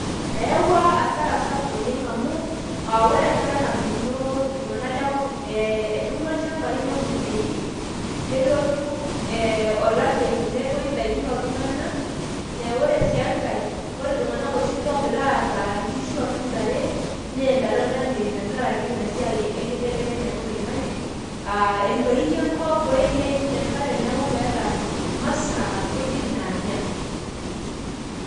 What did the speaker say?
eyawua asara sapuk amu, ore enkata natuuno iltunganak lekopikop, etuuno ilchampai neun idaikin. nelotu ee olameyu netoi idaikin ooltunganak. naa ore sii enkae ore iltunganak oshi, loogira aata nkishu ashu ntare, neya ntare olameyu tenkaraki ina siai, enkibelekenyata oloingange, aa entoii enkop, neishunye enkare, neeku meeta masaa inkujit naanya.